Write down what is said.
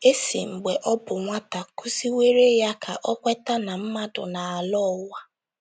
E si mgbe ọ bụ nwata kụziwere ya ka o kweta na mmadụ na - alọ ụwa.